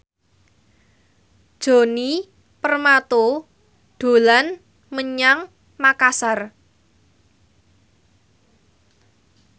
Djoni Permato dolan menyang Makasar